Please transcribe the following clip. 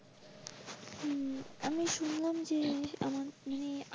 হম আমি শুনলাম যে মানে।